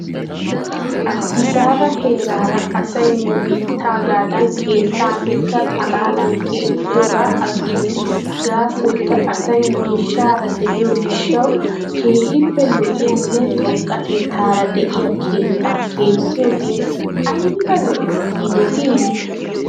Addisaaba heeraara asay nu biittaagadan keettaa mitta xalaalan keexxiyoogaa agis. Gaasoykka asay miishshaara de'iyoo gishshaw keehippe lo'iyaane xoqqatettaara de'iyaa keettaa keexxiyoogee ayba lo'es giidetii?